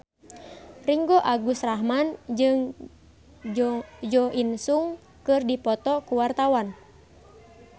Ringgo Agus Rahman jeung Jo In Sung keur dipoto ku wartawan